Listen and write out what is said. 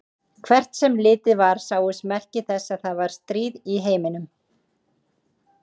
Hvert sem litið var sáust merki þess að það var stríð í heiminum.